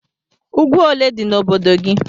Úgwú ólé dị n' obodo gị?